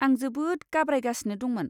आं जोबोद गाब्रायगासिनो दंमोन।